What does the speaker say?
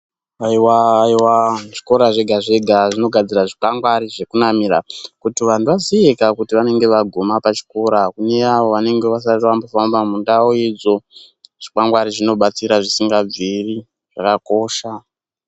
Haiwa haiwa zvikora zvega zvega zvinogadzira zvikwangwari zvekunamira kuti vanhu vaziye ka kuti venenge vaguma pachikora kune avo venenge vasati vambofamba mundau idzo zvikwangwari zvinobatsira zvisingabviri zvakakosha.